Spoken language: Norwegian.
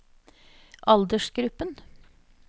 aldersgruppen